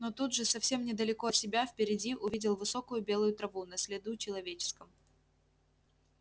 но тут же совсем недалеко от себя впереди увидел высокую белую траву на следу человеческом